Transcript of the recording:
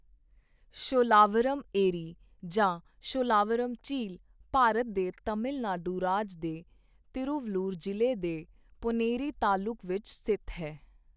ਸ਼ੋਲਾਵਰਮ ਏਰੀ ਜਾਂ ਸ਼ੋਲਾਵਰਮ ਝੀਲ ਭਾਰਤ ਦੇ ਤਮਿਲ ਨਾਡੂ ਰਾਜ ਦੇ ਤਿਰੂਵਲੂਰ ਜ਼ਿਲ੍ਹੇ ਦੇ ਪੋਨੇਰੀ ਤਾਲੁਕ ਵਿੱਚ ਸਥਿਤ ਹੈ।